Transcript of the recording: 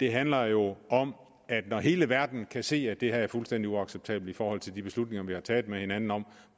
handler jo om at når hele verden kan se at det her er fuldstændig uacceptabelt i forhold til de beslutninger vi har taget med hinanden om